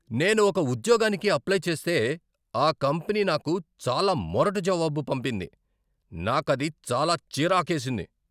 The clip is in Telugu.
నేను ఒక ఉద్యోగానికి అప్లై చేస్తే, ఆ కంపెనీ నాకు చాలా మొరటు జవాబు పంపింది, నాకది చాలా చిరాకేసింది.